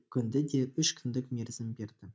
көнді де үш күндік мерзім берді